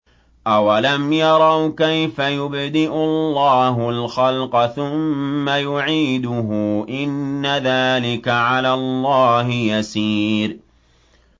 أَوَلَمْ يَرَوْا كَيْفَ يُبْدِئُ اللَّهُ الْخَلْقَ ثُمَّ يُعِيدُهُ ۚ إِنَّ ذَٰلِكَ عَلَى اللَّهِ يَسِيرٌ